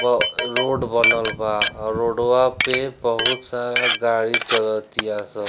वह रोड बनल बा और रोडवा पे बहुत सारा गाड़ी चलतियाँ सन।